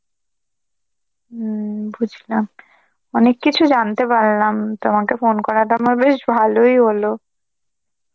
হম বুঝলাম, অনেক কিছু জানতে পারলাম, তোমাকে phone করাটা আমার বেশ ভালই হল.